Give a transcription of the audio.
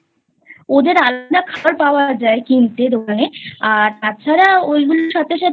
ওদের আলাদা খাবার পাওয়া যায় কিনতে দোকানে আর তাছাড়া ওইগুলোর সাথে সাথে